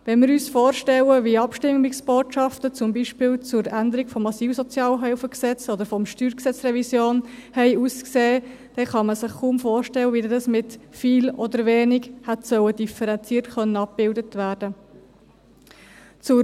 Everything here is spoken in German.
» Wenn wir uns vorstellen, wie Abstimmungsbotschaften, zum Beispiel zur Änderung des Gesetzes über die Sozialhilfe im Asyl- und Flüchtlingsbereich (SAFG) oder zur Revision des Steuergesetzes (StG), aussahen, kann man sich kaum vorstellen, wie dies mit «viel» oder «wenig» differenziert hätte abgebildet werden sollen.